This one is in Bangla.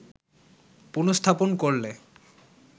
পুন:স্থাপন করলে